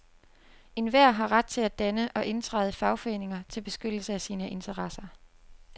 Enhver har ret til at danne og indtræde i fagforeninger til beskyttelse af sine interesser.